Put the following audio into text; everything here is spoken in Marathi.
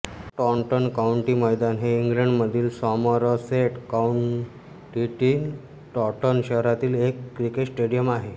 टॉंटन काउंटी मैदान हे इंग्लंडमधील सॉमरसेट काउंटीतील टॉंटन शहरातील एक क्रिकेट स्टेडियम आहे